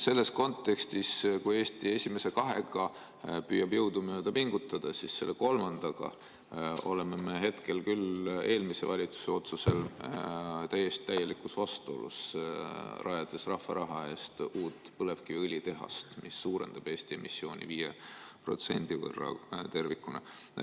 Kui Eesti esimese kahega püüab jõudumööda pingutada, siis selle kolmandaga oleme me hetkel eelmise valitsuse otsusel küll täielikus vastuolus, rajades rahva raha eest uut põlevkiviõlitehast, mis suurendab Eesti emissiooni 5% võrra.